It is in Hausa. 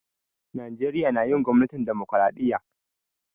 Najeriya na yin gwamnatin dimokiradiyya.